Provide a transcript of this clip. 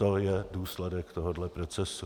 To je důsledek tohoto procesu.